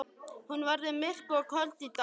Hún verður myrk og köld í dag.